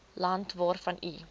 land waarvan u